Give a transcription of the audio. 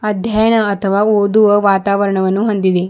ಅಧ್ಯಯನ ಅಥವಾ ಓದುವ ವಾತಾವರಣವನ್ನು ಹೊಂದಿದೆ.